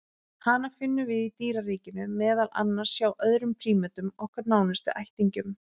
Hana finnum við í dýraríkinu, meðal annars hjá öðrum prímötum, okkar nánustu ættingjum.